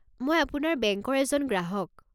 মই আপোনাৰ বেংকৰ এজন গ্ৰাহক।